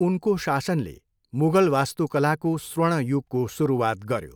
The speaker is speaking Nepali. उनको शासनले मुगल वास्तुकलाको स्वर्ण युगको सुरुवात गर्यो।